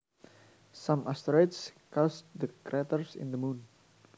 Some asteroids caused the craters in the Moon